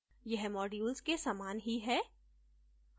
यह modules के समान ही है